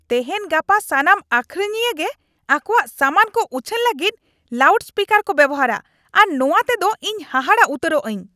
ᱛᱮᱦᱮᱧ ᱜᱟᱯᱟ ᱥᱟᱱᱟᱢ ᱟᱹᱠᱷᱨᱤᱧᱤᱭᱟᱹ ᱜᱮ ᱟᱠᱚᱣᱟᱜ ᱥᱟᱢᱟᱱ ᱠᱚ ᱩᱪᱷᱟᱹᱱ ᱞᱟᱹᱜᱤᱫ ᱞᱟᱣᱩᱰ ᱥᱯᱤᱠᱟᱨ ᱠᱚ ᱵᱮᱣᱦᱟᱨᱟ ᱟᱨ ᱱᱚᱶᱟ ᱛᱮᱫᱚ ᱤᱧ ᱦᱟᱦᱟᱲᱟ ᱩᱛᱟᱹᱨᱚᱜ ᱟᱹᱧ ᱾